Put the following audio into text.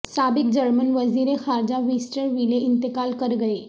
سابق جرمن وزیر خارجہ ویسٹر ویلے انتقال کر گئے